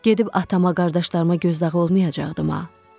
Gedib atama, qardaşlarıma gözdağı olmayacaqdıma?